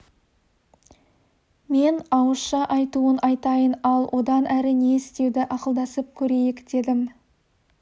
мен ауызша айтуын айтайын ал одан әрі не істеуді ақылдасып көрейік дедім